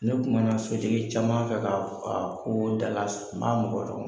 Ne kuma na sotigi caman fɛ k'a ko da la m'a mɔgɔ